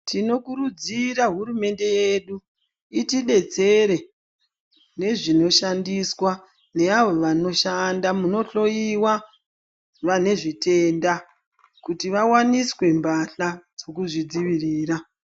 Tinokurudzira hurumende yedu itidetsere nezvinoshandiswa ne avo vanoshanda munohloyiwa vane zvitenda kuti vawaniswe mphahla dzekuzvidzivirira.